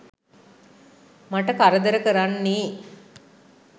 මට කරදර කරන්නේ.